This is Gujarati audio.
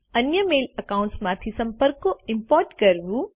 અન્ય મેલ એકાઉન્ટ્સ માંથી સંપર્કો ઈમ્પોર્ટ કરવું